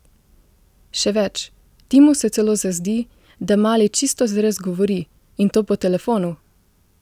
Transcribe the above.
Še več, Timu se celo zazdi, da mali čisto zares govori in to po telefonu!